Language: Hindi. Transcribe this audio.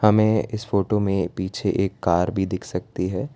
हमे इस फोटो में पीछे एक कार भी दिख सकती है।